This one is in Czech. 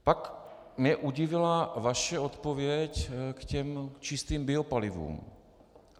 Pak mě udivila vaše odpověď k těm čistým biopalivům.